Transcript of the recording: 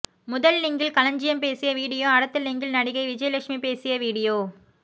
முதல் லிங்கில் களஞ்சியம் பேசிய வீடியோ அடுத்த லிங்கில் நடிகை விஜயலட்சுமி பேசிய வீடியோ